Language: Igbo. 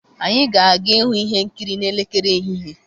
anyị ga-aga ịhụ ihe nkiri n'elekere ehihie.